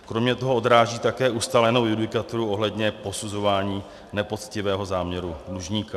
Kromě toho odráží také ustálenou judikaturu ohledně posuzování nepoctivého záměru dlužníka.